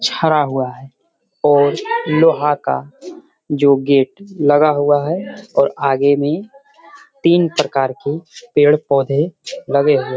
छडा हुआ है और लोहा का जो गेट लगा हुआ है और आगे में तीन प्रकार के पेड़-पोधे लगे हुए हैं।